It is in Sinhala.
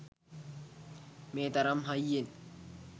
මේ තරම් හයියෙන්